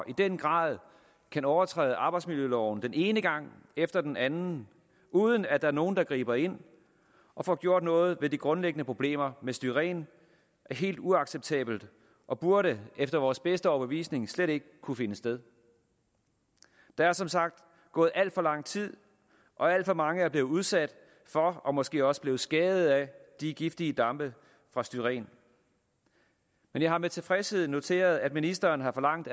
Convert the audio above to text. i den grad kan overtræde arbejdsmiljøloven den ene gang efter den anden uden at der er nogen der griber ind og får gjort noget ved de grundlæggende problemer med styren er helt uacceptabelt og burde efter vores bedste overbevisning slet ikke kunne finde sted der er som sagt gået alt for lang tid og alt for mange er blevet udsat for og måske også blevet skadet af de giftige dampe fra styren men jeg har med tilfredshed noteret at ministeren har forlangt